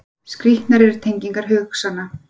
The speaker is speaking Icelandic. Skrýtnar eru tengingar hugsananna.